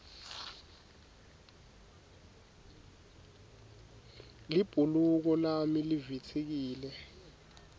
libhuluko lami livitsikile